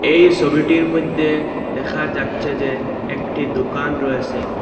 এই ছবিটির মধ্যে দেখা যাচ্ছে যে একটি দুকান রয়েসে।